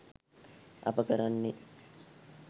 අප කරන්නේ